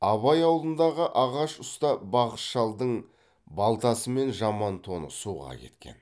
абай ауылындағы ағаш ұста бақыш шалдың балтасы мен жаман тоны суға кеткен